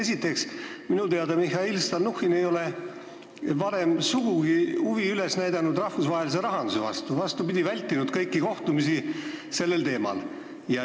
Esiteks, minu teada ei ole Mihhail Stalnuhhin varem sugugi näidanud üles huvi rahvusvahelise rahanduse vastu, vastupidi, ta on vältinud kõiki kohtumisi sel teemal.